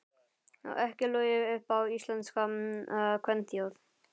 Og ekki logið upp á íslenska kvenþjóð.